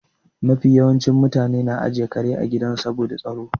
Mafi yawancin mutane na ajiye kare a gida ne saboda tsaro.